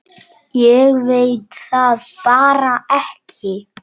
Ég veit það bara ekki.